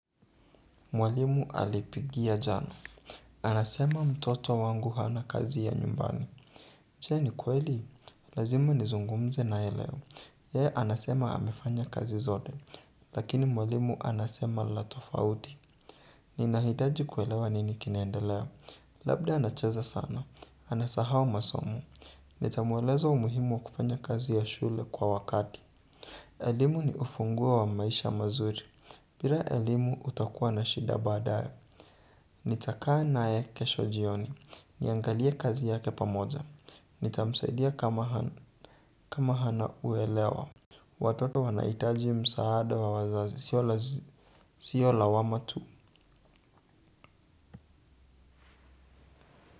Mwalimu alipigia jana. Anasema mtoto wangu hana kazi ya nyumbani. Je ni kweli? Lazima nizungumze naye leo. Yeye anasema amefanya kazi zote. Lakini mwalimu anasema la tofauti. Ninahitaji kuelewa nini kinaendelea. Labda anacheza sana. Anasahau masomo. Nitamueleza umuhimu wa kufanya kazi ya shule kwa wakati. Elimu ni ufunguo wa maisha mazuri. Bira elimu utakuwa na shida baadaye. Nitaka naye kesho jioni. Niangalie kazi yake pamoja. Nitamsaidia kama hana uelewa. Watoto wanahitaji msaada wa wazazi sio lazima. Sio lawama tu.